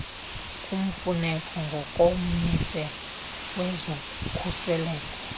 kumfuneke ngokommiselo wezokhuseleko